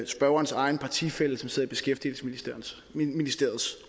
spørgerens egen partifælle som sidder i beskæftigelsesministeriets